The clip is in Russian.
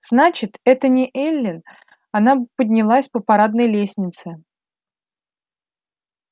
значит это не эллин она бы поднялась по парадной лестнице